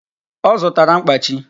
Ọ zụtara mkpachi